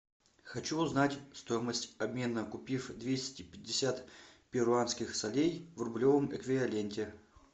хочу узнать стоимость обмена купив двести пятьдесят перуанских солей в рублевом эквиваленте